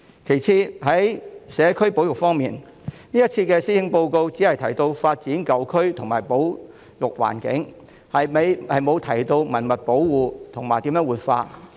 其次，在社區保育方面，這次施政報告只提到發展舊區和保育環境，沒有提及文物保護和如何活化。